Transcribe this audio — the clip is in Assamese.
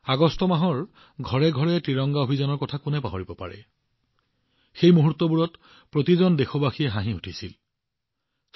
আগষ্ট মাহত আয়োজিত হৰ ঘৰ তিৰংগা অভিযানৰ কথা কোনে পাহৰিব পাৰে সেই মুহূৰ্তবোৰে প্ৰতিজন দেশবাসীৰ হৃদয় আলোড়িত কৰি তুলিছিল